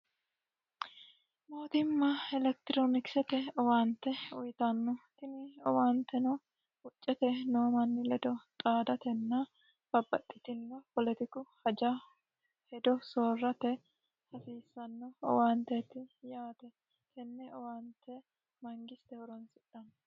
mootimma elektiroonikisete owaante uyitanno tini owaanteno huccete noomanni ledo xaadatenna babbaxxitino poletiqu haja hedo soorrate hasiissanno owaanteeti yaate tenne owaante mangiste horonsidhanno